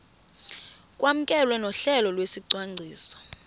kwamkelwe nohlelo lwesicwangciso